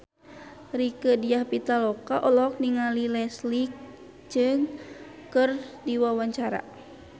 Rieke Diah Pitaloka olohok ningali Leslie Cheung keur diwawancara